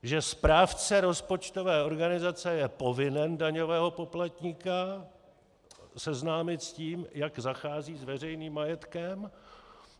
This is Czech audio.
Že správce rozpočtové organizace je povinen daňového poplatníka seznámit s tím, jak zachází s veřejným majetkem.